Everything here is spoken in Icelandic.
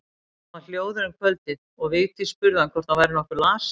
Hann var hljóður um kvöldið og Vigdís spurði hvort hann væri nokkuð lasinn.